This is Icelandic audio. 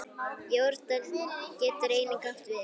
Jórdan getur einnig átt við